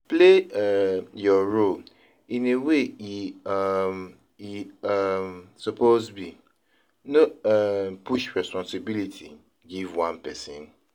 play um your role in a way e um e um suppose be; no um push resposibility give one pesin.